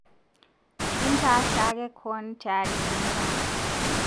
Intaa shaake koon teari tentemat